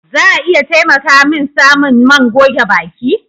Za a iya taimaka min samun man goge baki?